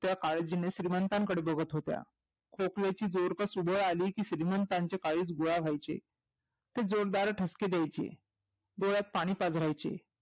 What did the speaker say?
त्या काळजीने श्रीमंताकडे बघू लागल्या होत्या खोकल्याची जोर सुबे अली कि श्रीमंतांचे काळीज गोळा व्हयचे जोर दार ठसके द्यायचे डोळ्यात पाणी पजऱ्यायचे